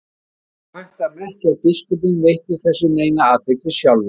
Ekki var þó hægt að merkja að biskupinn veitti þessu neina athygli sjálfur.